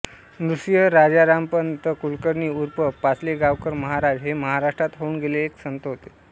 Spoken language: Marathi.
नृसिंह राजारामपंत कुळकर्णी ऊर्फ पाचलेगावकर महाराज हे महाराष्ट्रात होऊन गेलेले एक संत होते